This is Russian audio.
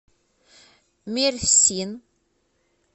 мерсин